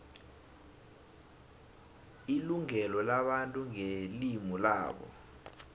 ilungelo labantu ngelimu labo